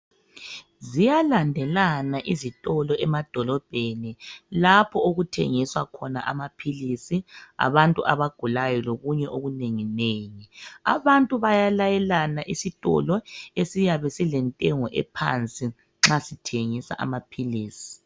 Ziyalandelana izitolo emadolobheni lapho okuthengiswa khona amaphilisi abantu abagulayo lokunye okunengi nengi, abantu bayalayelana isitolo esiyabe silentengo ephansi nxa sithengisa amaphilisi.